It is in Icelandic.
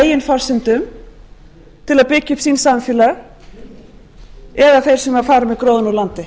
eigin forsendum til að byggja upp sín samfélög eða þeir sem fara með gróðann úr landi